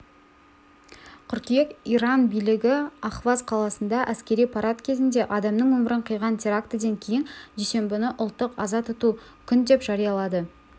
қыркүйек иран билігі ахваз қаласында әскери парад кезінде адамның өмірін қиған терактіден кейін дүйсенбіні ұлттық аза тұту күн деп жариялады